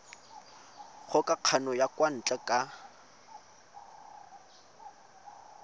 kgokagano ya kwa ntle ka